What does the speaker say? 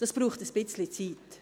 Das braucht seine Zeit.